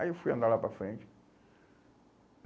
Aí eu fui andar lá para frente.